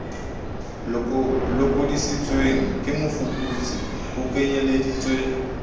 lokodisitsweng ke mofuputsi ho kenyeleditswe